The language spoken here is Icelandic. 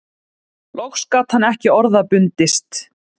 Loks gat hann ekki orða bundist